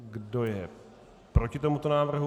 Kdo je proti tomuto návrhu?